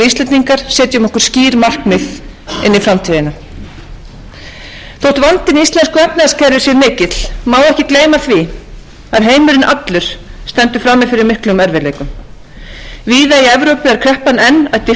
íslendingar setjum okkur skýr markmið inn í framtíðina þótt vandinn í íslensku efnahagskerfi sé mikill má ekki gleyma því að heimurinn allur stendur frammi fyrir miklum erfiðleikum víða í evrópu er kreppan enn að dýpka og til dæmis á bretlandi sjá menn fram á